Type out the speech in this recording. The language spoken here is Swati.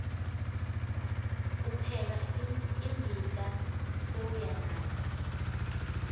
upheka imbita sewuyanatsa